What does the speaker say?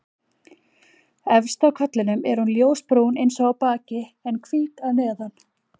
Efst á kollinum er hún ljósbrún eins og á baki en hvít að neðan.